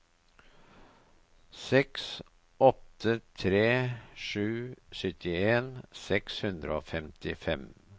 seks åtte tre sju syttien seks hundre og femtifem